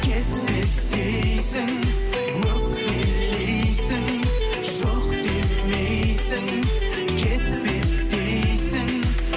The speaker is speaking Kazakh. кет кет дейсің өкпелейсің жоқ демейсің кетпе дейсің